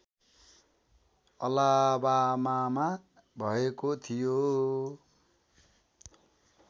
अलाबामामा भएको थियो